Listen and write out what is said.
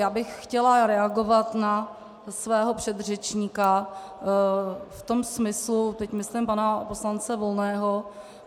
Já bych chtěla reagovat na svého předřečníka v tom smyslu - teď myslím pana poslance Volného.